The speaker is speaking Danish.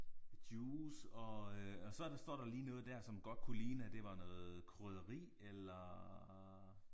Juice og øh og så står der lige noget der som godt kunne ligne at det var noget krydderi eller